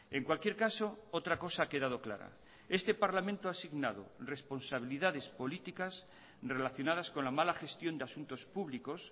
en cualquier caso otra cosa ha quedado clara este parlamento ha signado responsabilidades políticas relacionadas con la mala gestión de asuntos públicos